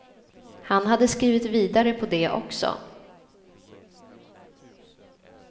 Han hade skrivit vidare på det också.